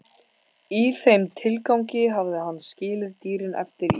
Í þeim tilgangi hafði hann skilið dýrin eftir í